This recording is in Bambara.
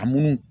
A munnu